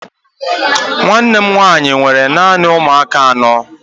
Nwanne m nwanyị nwere naanị ụmụaka anọ.